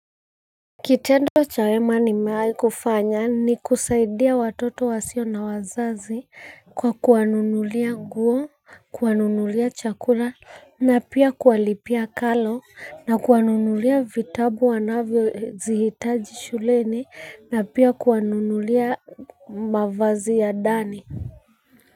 Kitendo cha wema nimewahi kufanya ni kusaidia watoto wasio na wazazi kwa kuwanunulia nguo, kuwanunulia chakula na pia kuwalipia karo na kuwanunulia vitabu wanavyozihitaji shuleni na pia kuwanunulia mavazi ya ndani.